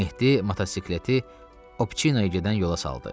Mehdi motosikleti Obçinoa gedən yola saldı.